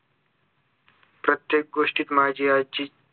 प्रत्येक गोष्टीत माझी आज्जी